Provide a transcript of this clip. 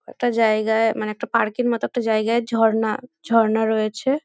একটা জায়গায় মানে একটা পার্ক -এর মতো একটা জায়গায় ঝর্না ঝর্না রয়েছে।